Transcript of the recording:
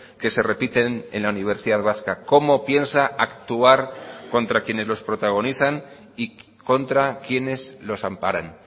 que se repiten en la universidad vasca cómo piensa actuar contra quienes los protagonizan y contra quienes los amparan